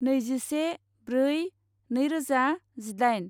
नैजिसे ब्रै नैरोजा जिदाइन